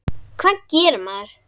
Hvað gerir maður?